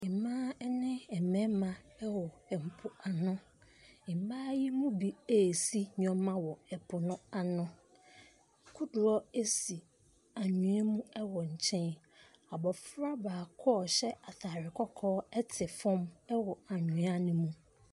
Mmaa ne mmarima ɛwɔ mpoano. Mmaa yi mu bi resi nneɛma wɔ mpoano. Kodoɔ si anwea mu wɔ nkyɛn. Abofra baako ɔhyɛ ataare kɔkɔɔ te fam wɔ anwea no mu.